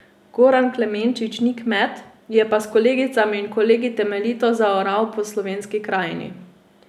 Goran Klemenčič ni kmet, je pa s kolegicami in kolegi temeljito zaoral po slovenski krajini.